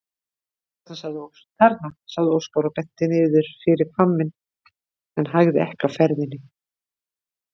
Þarna, sagði Óskar og benti niður fyrir hvamminn en hægði ekki á ferðinni.